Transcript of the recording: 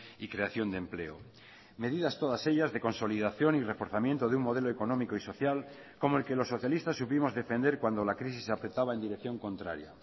y creación de empleo medidas todas ellas de consolidación y reforzamiento de un modelo económico y social como el que los socialistas supimos defender cuando la crisis afectaba en dirección contraria